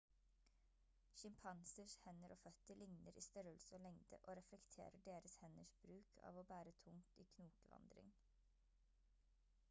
sjimpansers hender og føtter ligner i størrelse og lengde og reflekterer deres henders bruk av å bære tungt i knokevandring